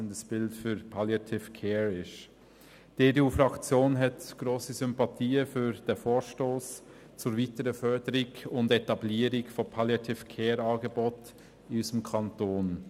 Die EDU-Fraktion hat grosse Sympathien für diesen Vorstoss zur weiteren Förderung und Etablierung von Angeboten der Palliative Care in unserem Kanton.